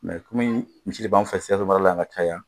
kɔmi misi de b'an fɛ Sikaso mara la yan ka caya